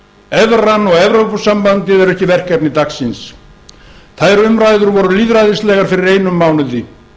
evran og evrópusambandið er ekki verkefni dagsins þær umræður voru lýðræðislegar fyrir einum mánuði